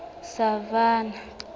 savannah